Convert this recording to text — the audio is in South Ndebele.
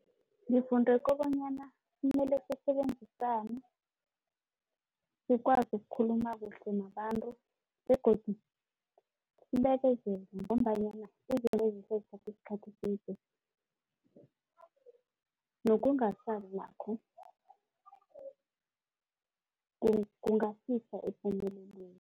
Ngifunde kobonyana kumele sisebenzisane sikwazi ukukhuluma kuhle nabantu begodu sibekezele ngombanyana izinto ezihle zithatha isikhathi eside. nakho kungasisa epumelelweni.